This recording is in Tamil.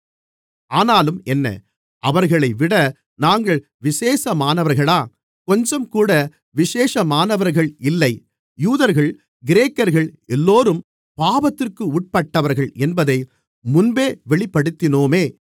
ஆனாலும் என்ன அவர்களைவிட நாங்கள் விசேஷமானவர்களா கொஞ்சம்கூட விசேஷமானவர்கள் இல்லை யூதர்கள் கிரேக்கர்கள் எல்லோரும் பாவத்திற்கு உட்பட்டவர்கள் என்பதை முன்பே வெளிப்படுத்தினோமே